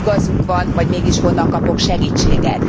Igazuk van, vagy mégis honnan kapok segítséget?